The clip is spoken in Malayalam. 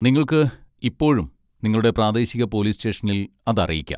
നിങ്ങൾക്ക് ഇപ്പോഴും നിങ്ങളുടെ പ്രാദേശിക പോലീസ് സ്റ്റേഷനിൽ അത് അറിയിക്കാം.